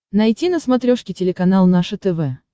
найти на смотрешке телеканал наше тв